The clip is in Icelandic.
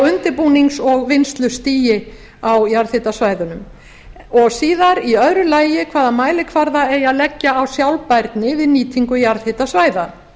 undirbúnings og vinnslustigi á jarðhitasvæðunum í öðru lagi hvaða mælikvarða eigi að leggja á sjálfbærni við nýtingu jarðhitasvæða